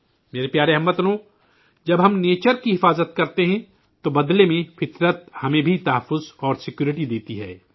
میرے پیارے ہم وطنو، جب ہم قدرت کا تحفظ کرتے ہیں تو بدلے میں قدرت بھی ہمیں تحفظ اور حفاظت فراہم کرتی ہے